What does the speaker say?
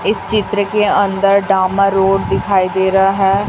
इस चित्र के अंदर डामर रोड दिखाई दे रहा है।